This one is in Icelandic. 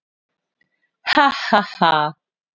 Ha ha ha!